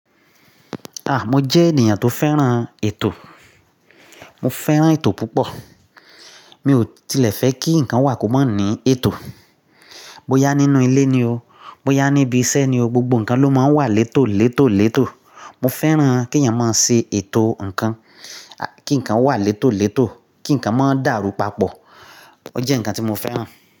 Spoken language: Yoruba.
Ah! Mo jẹ́ ènìyàn tó fẹ́ràn ètò. Mo fẹ́ràn ètò púpọ̀. Mi ò tilẹ̀ fẹ́ kí ǹkan wà kó mọ ní èetò. Bo yá nínú ilé ni o, bo yá níbi iṣẹ́ ni o, gbogbo ǹkan ló máa ń wà létò létò létò. Mo fẹ́ràn kí ẹ̀yàn máa ṣe ètò ǹkan, kí ǹkan wà létò létò, kí ǹkan má dàrú papọ̀. Ó jẹ́ ǹkan tí mo fẹ́ràn.